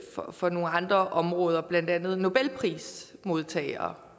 for nogle andre områder blandt andet nobelprismodtagere